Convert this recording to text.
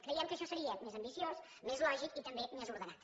creiem que això seria més ambiciós més lògic i també més ordenat